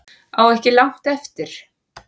Á ekki langt eftir